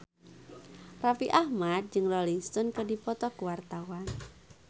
Raffi Ahmad jeung Rolling Stone keur dipoto ku wartawan